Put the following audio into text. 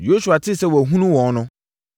Yosua tee sɛ wɔahunu wɔn no,